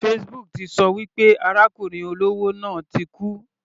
Facebook ti ṣọ wí pé arákùnrin olówó náà ti kú.